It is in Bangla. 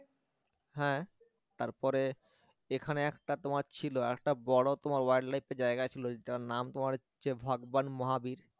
হ্যাঁ তারপরে এখানে একটা তোমার ছিল আরেকটা বড় তোমার wild life এর জায়গা ছিল যেটার নাম তোমার হচ্ছে ভগবান মহাবীর